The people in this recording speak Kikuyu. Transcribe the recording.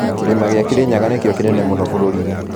Kĩrĩma gĩa kĩrĩnyaga nĩkĩo kĩnene mũno bũrũrinĩ